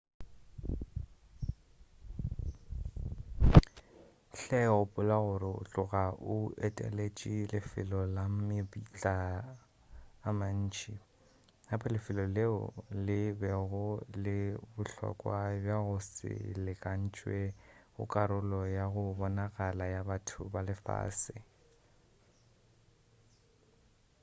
hle gopola gore o tloga o eteletše lefelo la mabitla a mantši gape lefelo leo le bego le bohlokwa bja go se lekantšwe go karolo ya go bonagala ya batho ba lefase